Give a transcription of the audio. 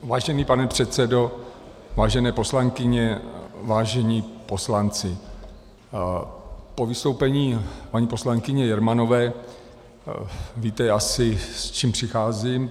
Vážený pane předsedo, vážené poslankyně, vážení poslanci, po vystoupení paní poslankyně Jermanové... víte asi s čím přicházím.